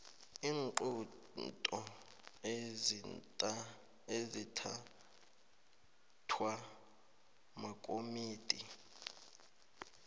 iinqunto ezithathwa makomidi